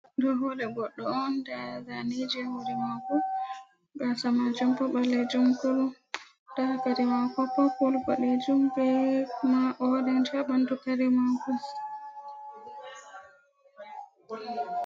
ɗo hore goddo on nda zaneji, hore mako gasa majum bo ballejum kurum, nda kare mako popul bodejum be ma oreng ha ɓandu kare mako.